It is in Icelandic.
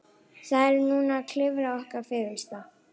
Við erum núna að lifa okkar fegursta.